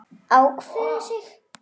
Ákveðið sig?